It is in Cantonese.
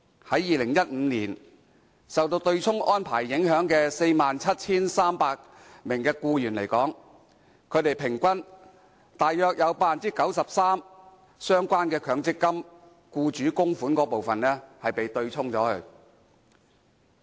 在2015年受到對沖安排影響的 47,300 名僱員，平均約有 93% 的相關強積金僱主供款部分被對沖。